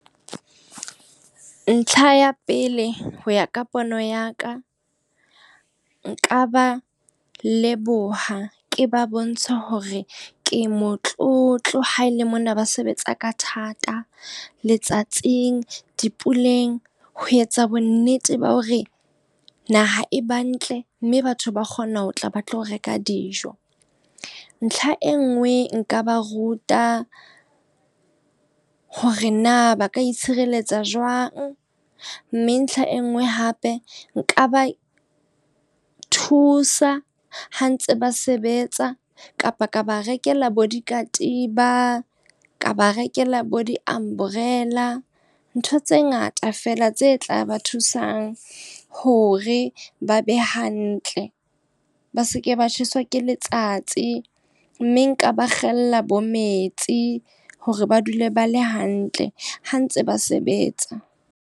Ntlha ya pele, ho ya ka pono ya ka. Nka ba leboha, ke ba bontshe hore ke motlotlo ha ele mona ba sebetsa ka thata, letsatsing dipuleng. Ho etsa bonnete ba hore naha e ba ntle, mme batho ba kgona ho tla ba tlo reka dijo. Ntlha e nngwe nka ba ruta hore na ba ka itshireletsa jwang. Mme ntlha e nngwe hape, nka ba thusa ha ntse ba sebetsa kapa ka ba rekela bo dikatiba, ka ba rekela bo di-umbrella, ntho tse ngata feela tse tla ba hore ba be hantle ba seke ba tjheswa ke letsatsi. Mme nka ba kgetholla bo metsi, hore ba dule ba le hantle ha ntse ba sebetsa.